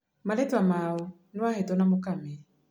Marĩtwa mao nĩ Wahĩto na Mũkami.